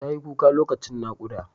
Tayi kuka lokacin naƙuda.